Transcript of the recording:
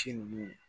Ci nunnu